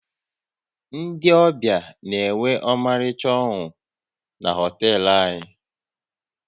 Ndị ọbịa na-enwe ọmarịcha ọnụnọ na họtel anyị